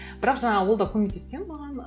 бірақ жаңа ол да көмектескен маған